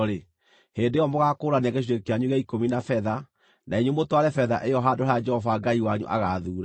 hĩndĩ ĩyo mũgaakũũrania gĩcunjĩ kĩanyu gĩa ikũmi na betha, na inyuĩ mũtware betha ĩyo handũ harĩa Jehova Ngai wanyu agaathuura.